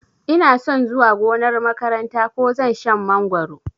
Inason zuwa gonar makaranta ko zan shan mangoro